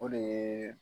O de ye